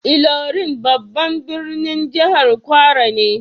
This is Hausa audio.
Ilorin babban birnin jihar kwara ne.